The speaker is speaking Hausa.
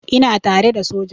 Ina tare da soja.